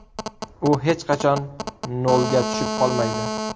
U hech qachon nolga tushib qolmaydi.